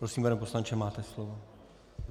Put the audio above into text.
Prosím, pane poslanče, máte slovo.